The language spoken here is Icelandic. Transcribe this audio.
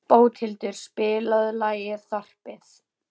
Bóthildur, spilaðu lagið „Þorpið“.